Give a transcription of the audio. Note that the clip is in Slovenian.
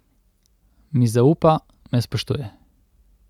Mi zaupa, me spoštuje.